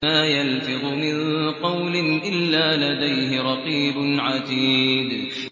مَّا يَلْفِظُ مِن قَوْلٍ إِلَّا لَدَيْهِ رَقِيبٌ عَتِيدٌ